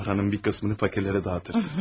Paranın bir qismini fakirlərə dağıdardım.